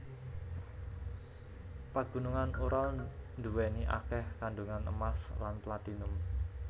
Pagunungan Ural nduweni akeh kandungan emas lan platinum